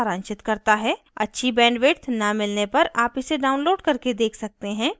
अच्छी bandwidth न मिलने पर आप इसे download करके देख सकते हैं